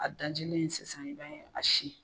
A dajilen sisan i b'a sin.